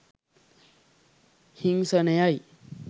හිංසනයයි.